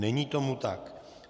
Není tomu tak.